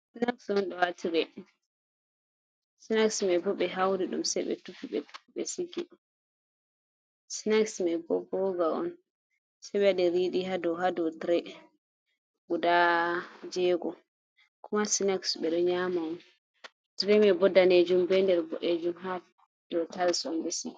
Sinax un ha tirey, sinax bo be hauri dum se be tufi be sigi, sinaxs mai bo boga on se be wadi ridi hado, hado tirey guda jego kuma snaxs be do nyama on tirey mai bo danejun be der bo’ejun ha do tiles be sigi.